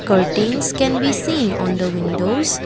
curtains can be seen on the windows.